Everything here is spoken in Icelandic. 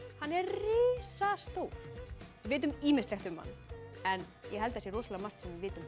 hann er risastór við vitum ýmislegt um hann en ég held að sé rosalega margt sem við vitum